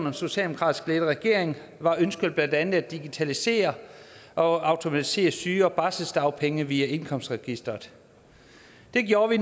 en socialdemokratisk ledet regering var ønsket blandt andet at digitalisere og automatisere syge og barselsdagpenge via indkomstregistret det gjorde vi